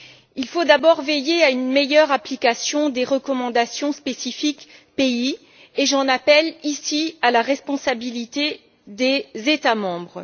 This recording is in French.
Il faut d'abord veiller à une meilleure application des recommandations spécifiques par pays, et j'en appelle, ici, à la responsabilité des États membres.